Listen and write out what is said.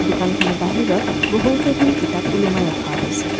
দোকানখনৰ বাহিৰত বহু কেইখন কিতাপ ওলোমাই ৰখা হৈছে।